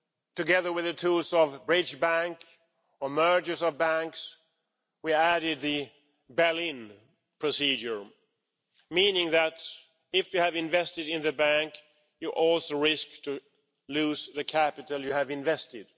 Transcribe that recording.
Together with the tools of a bridge bank or mergers of banks, we added the bail in procedure, meaning that, if you have invested in the bank, you also risk losing the capital you have invested.